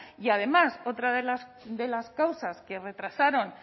y además otra de las causas que retrasaron